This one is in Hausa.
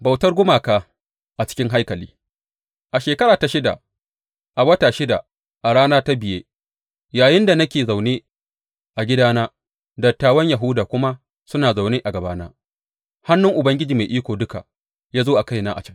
Bautar gumaka a cikin haikali A shekara ta shida, a wata shida a ranar ta biya, yayinda nake zaune a gidana dattawan Yahuda kuma suna zaune a gabana, hannun Ubangiji Mai Iko Duka ya zo a kaina a can.